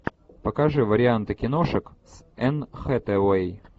покажи варианты киношек с энн хэтэуэй